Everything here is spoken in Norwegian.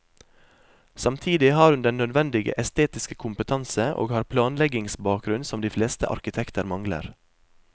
Samtidig har hun den nødvendige estetiske kompetanse, og har planleggingsbakgrunn som de fleste arkitekter mangler.